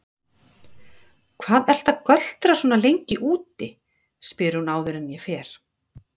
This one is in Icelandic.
Hvað ertu að göltrast svona lengi úti, spyr hún áður en ég fer.